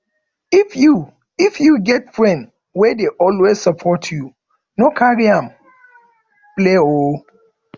if you if you get friend wey dey always support you no carry am play oo